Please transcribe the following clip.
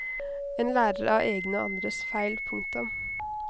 En lærer av egne og andres feil. punktum